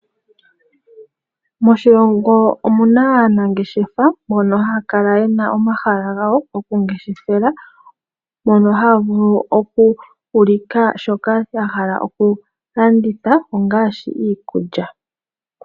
Moshilongo omuna aanangeshefa mbono haya kala yena omahala gawo gokungeshefela mono haya vulu oku ulika shoka ya hala oku landitha ongaashi iikulya.